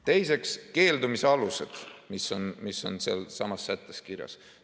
Teiseks, keeldumise alused, mis on sealsamas sättes kirjas.